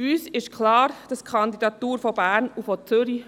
Uns ist klar, dass die beiden Kandidaturen von Bern und Zürich